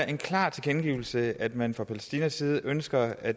en klar tilkendegivelse af at man fra palæstinas side ønsker at